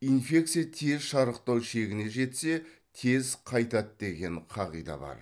инфекция тез шарықтау шегіне жетсе тез қайтады деген қағида бар